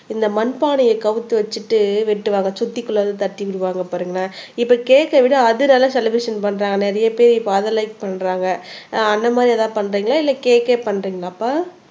இந்த மண்பானையை கவுத்து வச்சிட்டு வெட்டுவாங்க சுத்திக்குள்ளாற தட்டி விடுவாங்க பாருங்க இப்ப கேக்க விட அது நல்ல செலிப்ரஷன் பண்றாங்க நிறைய பேர் இப்ப அத லைக் பண்றாங்க ஆஹ் அந்த மாதிரி எதாவது பண்றீங்களா இல்ல கேக்கே பண்றீங்களாப்பா